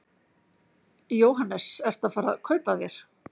Jóhannes: Ertu að fara að kaupa þér?